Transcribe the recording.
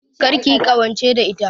Kar kiyi ƙawance da ita